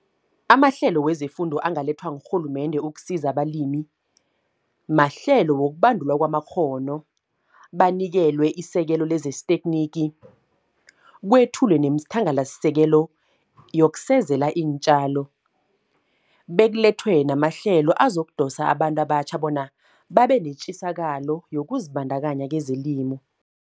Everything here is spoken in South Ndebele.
Amahlelo wezefundo angalethwa ngurhulumende ukusiza abalimi, mahlelo wokubandulwa kwamakghono. Banikelwe isekelo lezestekhniki, kwethulwe neemthangalasisekelo, yokusezela iintjalo. Bekulethwe namahlelo azokudosa, abantu abatjha bona babenetjisakalo yokuzibandakanya kwezelimo.